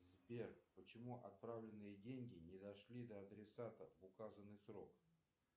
сбер почему отправленные деньги не дошли до адресата в указанный срок